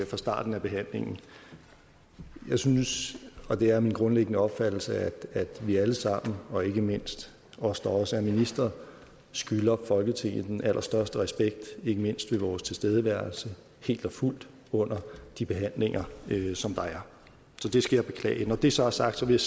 fra starten af behandlingen jeg synes og det er min grundlæggende opfattelse at vi alle sammen og ikke mindst os der også er ministre skylder folketinget den allerstørste respekt ikke mindst ved vores tilstedeværelse helt og fuldt under de behandlinger som der er så det skal jeg beklage når det så er sagt vil